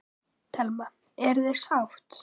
Telma: Eruð þið sátt?